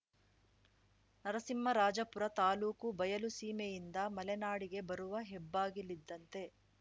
ನರಸಿಂಹರಾಜಪುರ ತಾಲೂಕು ಬಯಲು ಸೀಮೆಯಿಂದ ಮಲೆನಾಡಿಗೆ ಬರುವ ಹೆಬ್ಬಾಗಿಲಿದ್ದಂತೆ